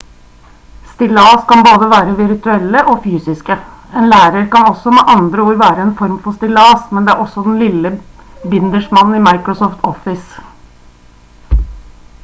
stillas kan både være virtuelle og fysiske en lærer kan også med andre ord være en form for stillas men det er også den lille bindersmannen i microsoft office